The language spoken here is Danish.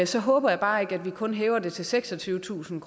så håber jeg bare ikke at vi kun hæver det til seksogtyvetusind